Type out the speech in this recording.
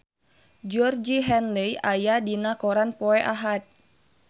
Georgie Henley aya dina koran poe Ahad